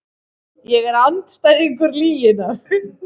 Ég er andstæðingur lyginnar.